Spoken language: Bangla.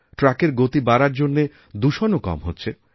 ট্রাকের গতি বাড়ার জন্য দূষণও কম হচ্ছে